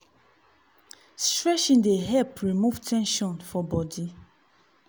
stretching dey help remove ten sion for body.